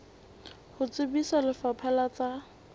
ho tsebisa lefapha la tsa